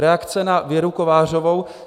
Reakce na Věru Kovářovou.